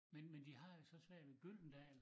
Men men de har jo så svært ved Gyldendal